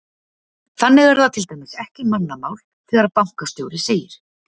Þannig er það til dæmis ekki mannamál þegar bankastjóri segir: